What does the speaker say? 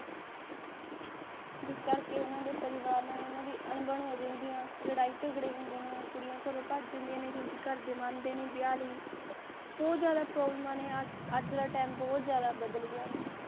ਜਿਸ ਕਰਕੇ ਉਨ੍ਹਾਂ ਦੇ ਪਰਿਵਾਰ ਨਾਲ ਓਹਨਾ ਦੀ ਅਣਬਣ ਰਹਿੰਦੀਆ ਲੜਾਈ ਝਗੜੇ ਹੁੰਦੇ ਨੇ ਕੁੜੀਆਂ ਘਰੋਂ ਭੱਜ ਜਾਂਦੀਆਂ ਨੇ ਕਿਉਂਕਿ ਘਰ ਦੀ ਮੰਨਦੇ ਨੀ ਵਿਆਹ ਲਈ ਬਹੁਤ ਜਾਦਾ problem ਆ ਨੇ ਅੱਜ ਦਾ ਟਾਈਮ ਬਹੁਤ ਜ਼ਿਆਦਾ ਬਦਲ ਗਿਆ